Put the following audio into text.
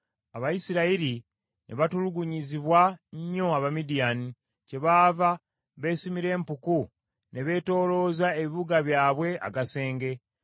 Abayisirayiri ne batulugunyizibwa nnyo Abamidiyaani. Kyebaava beesimira empuku ne beetoolooza ebibuga byabwe agasenge.